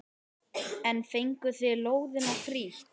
En fenguð þið lóðina frítt?